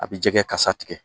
A bɛ jɛgɛ kasa tigɛ